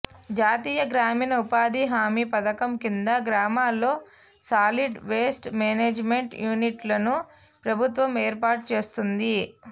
జాతీయ గ్రామీణ ఉపాధి హామీ పథకం కింద గ్రామాల్లో సాలిడ్ వేస్ట్ మేనేజిమెంట్ యూనిట్లను ప్రభుత్వం ఏర్పాటు చేస్తోంది